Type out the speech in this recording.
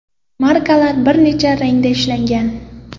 Markalar bir necha rangda ishlangan.